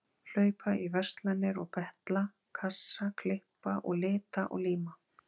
Hlaupa í verslanir og betla kassa, klippa og lita og líma.